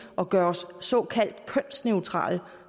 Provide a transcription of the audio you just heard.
og gøre os såkaldt kønsneutrale